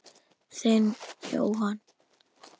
Þinn, Jóhann.